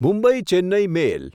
Mumbai Chennai મેલ